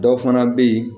Dɔw fana bɛ yen